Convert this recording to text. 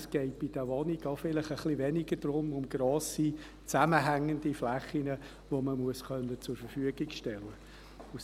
Es geht bei den Wohnungen vielleicht ein bisschen weniger um grosse zusammenhängende Flächen, die man zur Verfügung stellen können muss.